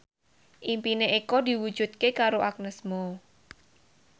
impine Eko diwujudke karo Agnes Mo